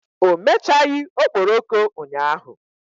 O mechaghị okporoko ụnyahụ.